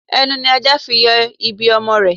Ẹnu ni ajá fi ń yọ ibi ọmọ rẹ̀